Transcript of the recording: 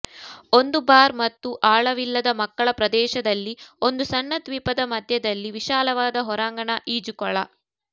ಒಂದು ಬಾರ್ ಮತ್ತು ಆಳವಿಲ್ಲದ ಮಕ್ಕಳ ಪ್ರದೇಶದಲ್ಲಿ ಒಂದು ಸಣ್ಣ ದ್ವೀಪದ ಮಧ್ಯದಲ್ಲಿ ವಿಶಾಲವಾದ ಹೊರಾಂಗಣ ಈಜುಕೊಳ